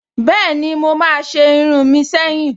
Bẹ́ẹ̀ni, mo máa se irun mi seyin